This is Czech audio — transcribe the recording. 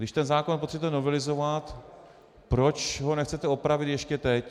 Když ten zákon potřebujete novelizovat, proč ho nechcete opravit ještě teď?